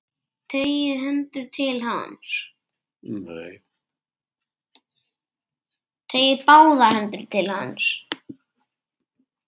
Teygir báðar hendur til hans.